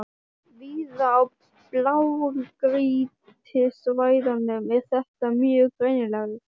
Víða á blágrýtissvæðunum er þetta mjög greinilegt.